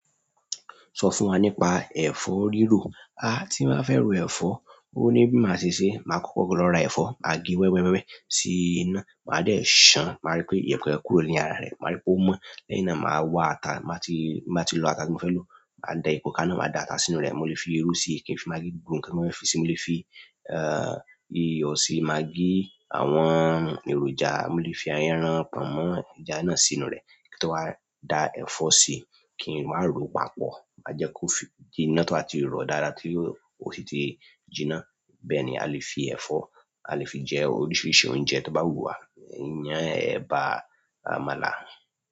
Sọ fún wa nípa ẹ̀fọ́ rírò. Tí n bá fẹ́ ro ẹ̀fọ́, ó ní bí máa ṣe ṣeé, máa kọ́kọ́ lọ ra ẹ̀fọ́, máa gé wẹ́wẹ́ wẹ́wẹ́ sí iná, máa dẹ̀ ṣàn-án, máa rí pé ìyẹ̀pẹ̀ kúrò ní ara rẹ̀, máa rí pé ó mọ́. Lẹ́yìn náà màá wá ata. Tí n bá ti, tí n bá ti lọ ata tí mo fẹ́ lò, màá da epo kaná, màá da ata sínú rẹ̀. Mo lè fi irú sí i, kí n fi magí gbogbo nǹkan tí mo fẹ́ fi síi. Mo lè fi iyọ̀ sí i, magí, àwọn èròjà. Mo lè fi ẹran, pọ̀nmọ́, ẹja náà sínú rẹ̀ kí ń tó wá da ẹ̀fọ́ sí i kí n wá ròó papọ̀. Màá jẹ́ kó fi jinná to bá ti rọ̀ dáadáa tí ó sì ti jinná. Bẹ́ẹ̀ni, a lè fi ẹ̀fọ́, a lè fi jẹ oríṣìíríṣìí oúnjẹ tó bá wù wá. Iyán, ẹ̀bà, àmàlà.